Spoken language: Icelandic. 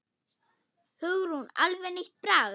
Hugrún: Alveg nýtt bragð?